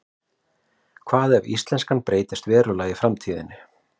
hvað ef íslenskan breytist verulega í framtíðinni